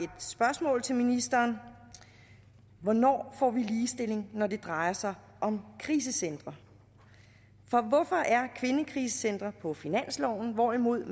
spørgsmål til ministeren hvornår får vi ligestilling når det drejer sig om krisecentre hvorfor er kvindekrisecentre på finansloven hvorimod